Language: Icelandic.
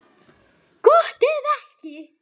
Gott ef ekki.